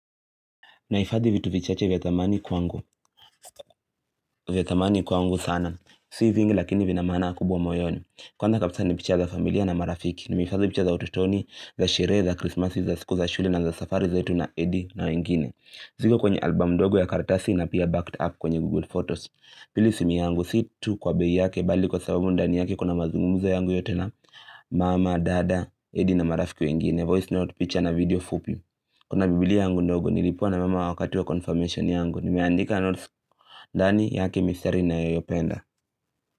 Naifadhi vitu vichache vya thamani kwangu. Vya thamani kwangu sana. Si vingi lakini vina maana kubwa moyoni. Kwanza kabisa nipicha za familia na marafiki. Nimehifadhi picha za utotoni, za sherehe, za krismasi, za siku za shule na za safari zatu na Eddy na wengine. Ziko kwenye album ndogo ya kartasi na pia backed up kwenye google photos. Pili sumi yangu, situ kwa bei yake, bali kwa sababu ndani yake kuna mazungumzo yangu yote na Mama, dada, edi na marafiki wengine, voice note, picture na video fupi Kuna bibilia yangu ndogo, nilipewa na mama wakati wa confirmation yangu. Nimeandika notes dani yake mistari ninayoipenda.